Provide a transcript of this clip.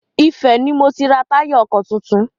Ifẹ̀ ni mo ti ra táyà ọkọ̀ tuntun.